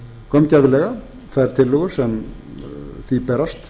gaumgæfilega þær tillögur sem því berast